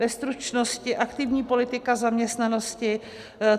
Ve stručnosti - aktivní politika zaměstnanosti.